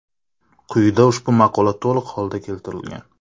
Quyida ushbu maqola to‘liq holda keltirilgan.